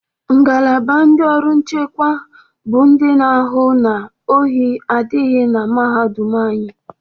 Ngalaba ndị ọrụ nchekwa bụ ndị na-ahụ na ohi adịghị na mahadum anyị.